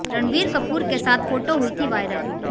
रणबीर कपूर के साथ फोटो हुई थी वायरल